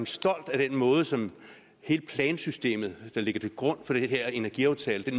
stolt af den måde som hele plansystemet der ligger til grund for den her energiaftale